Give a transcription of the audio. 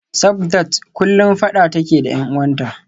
Sabdat kullum fada take da y'an uwanta